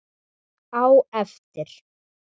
Á eftir.